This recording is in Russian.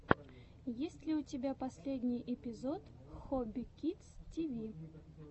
есть ли у тебя последний эпизод хобби кидс ти ви